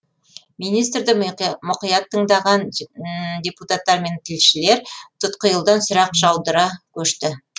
министрді мұқият тыңдаған депутаттар мен тілшілер тұтқиылдан сұрақ жаудыруға көшті